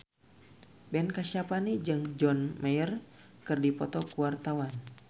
Ben Kasyafani jeung John Mayer keur dipoto ku wartawan